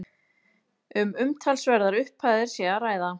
Um umtalsverðar upphæðir sé að ræða